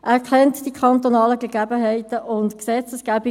Er kennt die kantonalen Gegebenheiten und Gesetzgebungen;